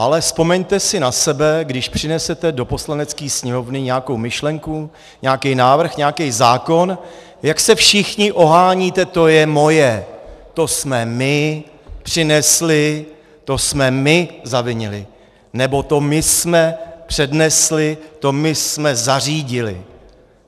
Ale vzpomeňte si na sebe, když přinesete do Poslanecké sněmovny nějakou myšlenku, nějaký návrh, nějaký zákon, jak se všichni oháníte: to je moje, to jsme my přinesli, to jsme my zavinili, nebo to my jsme přednesli, to my jsme zařídili.